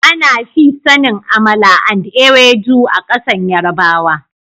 Ana fi sanin " amala and ewedu " a kasan yarbawa.